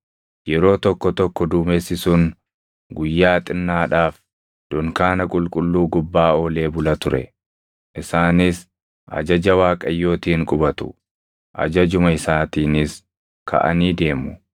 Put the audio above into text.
Yeroo tokko tokko duumessi sun guyyaa xinnaadhaaf dunkaana qulqulluu gubbaa oolee bula ture; isaanis ajaja Waaqayyootiin qubatu; ajajuma isaatiinis kaʼanii deemu.